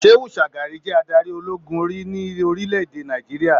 Shehu Shagari je adarí ológun rí ní orílẹ̀-èdè Nàìjíríà.